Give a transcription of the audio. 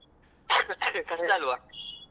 ಹೌದ್ ಹೌದು ಮತ್ತೆ ಬಾರಿ ಕಷ್ಟ.